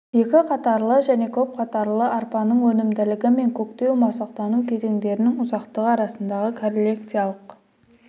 екі қатарлы және көп қатарлы арпаның өнімділігі мен көктеу-масақтану кезеңдерінің ұзақтығы арасындағы корреляциялық